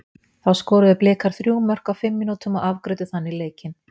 Þá skoruðu Blikar þrjú mörk á fimm mínútum og afgreiddu þannig leikinn.